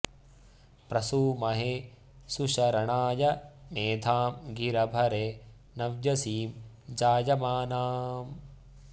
प्र सू म॒हे सु॑शर॒णाय॑ मे॒धां गिरं॑ भरे॒ नव्य॑सीं॒ जाय॑मानाम्